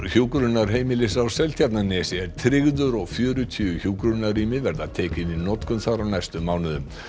hjúkrunarheimilis á Seltjarnarnesi er tryggður og fjörutíu hjúkrunarrými verða tekin í notkun þar á næstu mánuðum